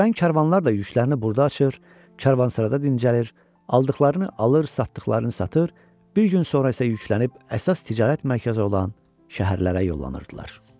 Gələn karvanlar da yüklərini burda açır, Kərvansarada dincəlir, aldıqlarını alır, satdığını satır, bir gün sonra isə yüklənib əsas ticarət mərkəzi olan şəhərlərə yollanırdılar.